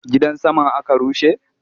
Gidan saman aka rushe?